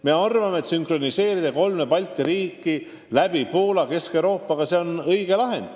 Me arvame, et õige lahend on sünkroniseerida kolme Balti riigi süsteemid Poola kaudu Kesk-Euroopa omadega.